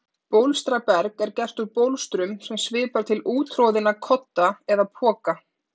Bólstraberg er gert úr bólstrum sem svipar til úttroðinna kodda eða poka.